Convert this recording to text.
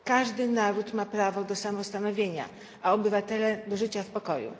Każdy naród ma prawo do samostanowienia, a obywatele do życia w pokoju.